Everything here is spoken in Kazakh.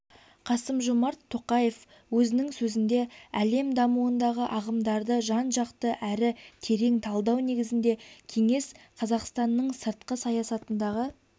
қасым-жомарт тоқаев өзінің сөзінде әлем дамуындағы ағымдарды жан-жақты әрі терең талдау негізінде кеңес қазақстанның сыртқы саясатындағы